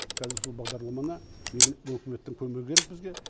қазір сол бағдарламаны үкіметтің көмегі керек бізге